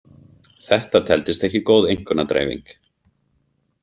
Þetta teldist ekki góð einkunnadreifing.